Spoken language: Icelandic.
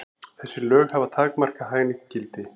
Þessi lög hafa takmarkað hagnýtt gildi.